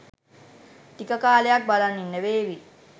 ටික කාලයක් බලන් ඉන්න වේවි.